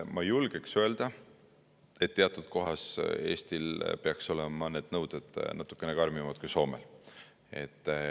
Ma julgeks öelda, et mõne koha pealt Eestil peaks olema need nõuded natukene karmimad kui Soomel.